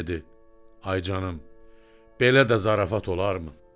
Və dedi: Ay canım, belə də zarafat olarmı?